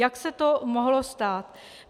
Jak se to mohlo stát?